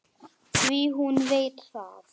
Því hún veit það.